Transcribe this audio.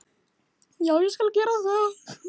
Já, ég skal gera það